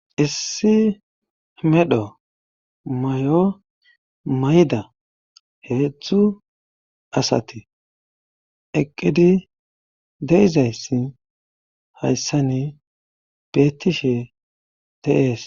Issi medho mayo mayda heedzdzu asati eqqidi deizayssi hayssani beettishe teees